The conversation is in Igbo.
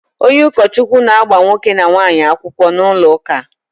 Onye ukochukwu na-agba nwoke na nwaanyi akwukwo n'ulo uka